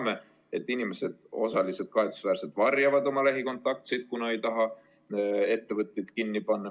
Me teame, et osa inimesi kahetsusväärselt varjab oma lähikontaktseid, kuna ei taheta, et ettevõtted kinni pandaks.